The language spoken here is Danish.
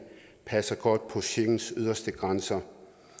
passer godt på schengens yderste grænser